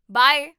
Bye!